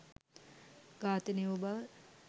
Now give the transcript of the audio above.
ඝාතනය වූ බව.